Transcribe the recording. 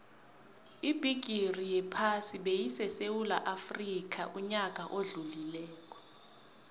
ibigixi yephasi beyisesewula afxica uyaka odlulile